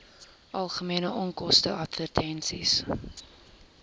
algemene onkoste advertensies